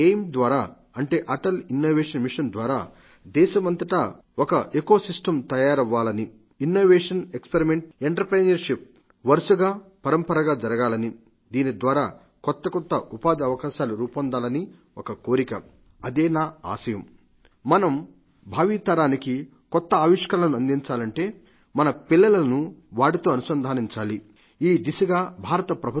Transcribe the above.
ఎం ద్వారా అంటే Atal innovation experiment entrepreneurship వరుసగా పరంపరంగా జరగాలని దీనిద్వారా కొత్త ఉపాధి అవకాశాలు రూపొందించాలని ఒక కోరిక అదే నా ఆశయం మనం భావితరానికి కొత్త ఇన్నోవోటర్స్ ని అందించాలంటే మన పిల్లలను వాటితో అనుసంధానించాలి ఈ దిశగా భారత ప్రభుత్వం అటల్ టింకరింగ్ ల్యాబ్స్ ను రూపొందించింది